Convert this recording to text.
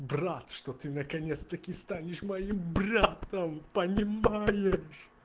брат что ты наконец-таки станешь моим братом понимаешь